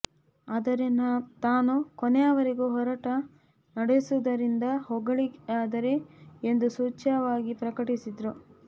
ಆದರೆ ತಾನು ಕೊನೆಯವರೆಗೂ ಹೋರಾಟ ನಡೆಸುವುದರಿಂದ ಹೊರಗುಳಿಯಲಾರೆ ಎಂದು ಸೂಚ್ಯವಾಗಿ ಪ್ರಕಟಿಸಿದರು